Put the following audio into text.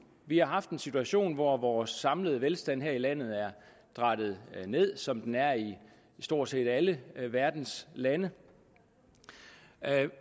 vi har haft en situation hvor vores samlede velstand her i landet er drattet ned som den er i stort set alle verdens lande